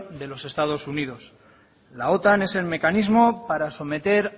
de los estados unidos la otan es el mecanismo para someter